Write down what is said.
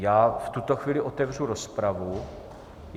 Já v tuto chvíli otevřu rozpravu.